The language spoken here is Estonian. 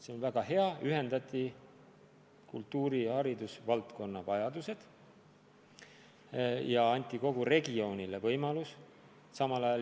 See oli väga hea: ühendati kultuuri- ja haridusvaldkonna vajadused ja anti kogu regiooni inimestele võimalused.